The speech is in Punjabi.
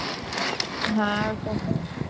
ਹਾਂ ਇਹ ਤਾਂ ਹੈ